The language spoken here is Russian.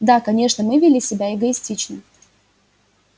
да конечно мы вели себя эгоистично